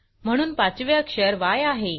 म्हणून पाचवे अक्षर य आहे